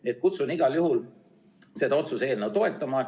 Nii et kutsun igal juhul üles seda otsuse eelnõu toetama.